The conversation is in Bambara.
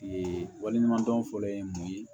Ee wali ɲuman dɔn fɔlɔ ye mun ye